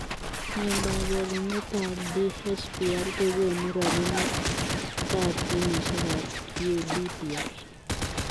Miondoop reruneet ap DHPR kogonuu rerunetap ginisiek ap QDPR.